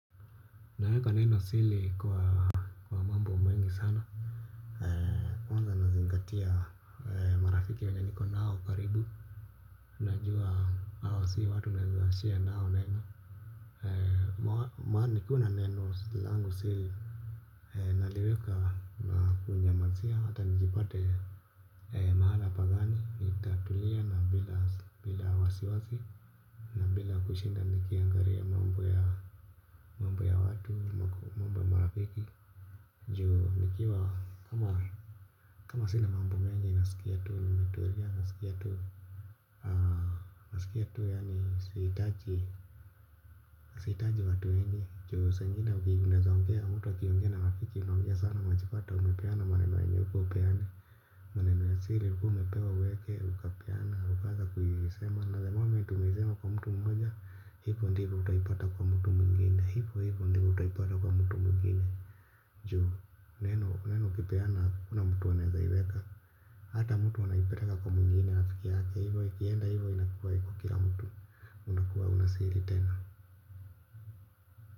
Naweka nenosili kwa mambo mengi sana kwanza nazingatia marafiki wenye niko nao karibu najua hao si watu naeza share nao neno maana nikuna neno langu sili naliweka kuunyamazia hata nijipate mahala pagani itatulia na bila wasi wasi na bila kushinda nikiangaria mambo ya mambo ya watu mambo ya marafiki. Ndio nikiwa kama sinamambu mengi na sikia tuu ni metulia na sikia tuu. Sikia tuu yaani siitaji. Siitaji watu enye njoo sengina ukigunda zongea mtu wakiongina wakiki. Unangia sana machipata umepeana maneno yenye uku upeane. Manema sili uku mepewa uweke ukapeana ukaaza kuyisema. Na the momentu umeisema kwa mtu mmoja. Hivyo ndivyo utaipata kwa mtu mungine Njuhu, neno, neno kipeana kuna mtu waneza iweka. Hata mtu wanaipetaka kwa mwingine nafiki yake. Hivyo ikienda hivyo inakuwa hiko kila mtu. Unakuwa unasiri tena.